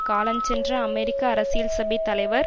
காலஞ்சென்ற அமெரிக்க அரசியல்சபை தலைவர்